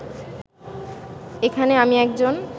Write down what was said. এখানে আমি একজন